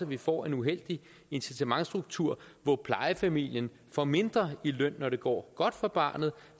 vi får en uheldig incitamentsstruktur hvor plejefamilien får mindre i løn når det går godt for barnet